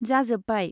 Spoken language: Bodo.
जाजोब्बाय ।